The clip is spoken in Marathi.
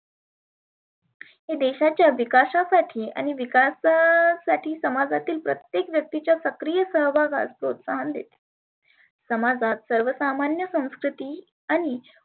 देशाच्या विकासा साठी आणि विकासा साठी समाजाच्या प्रत्येक व्यक्तीचा सक्रिय सहभाग हा असतोच. समाजात सर्वसामान्य संस्कृती आणि